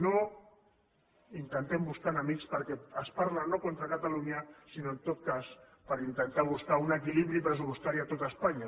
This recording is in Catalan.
no intentem buscar enemics perquè es parla no contra catalunya sinó en tot cas per intentar buscar un equilibri pressupostari a tot espanya